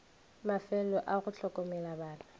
mafelo a go hlokomela bana